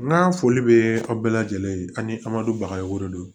N ka foli bɛ aw bɛɛ lajɛlen ye ani amadu bagayogo de don